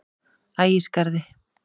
Ægisgarði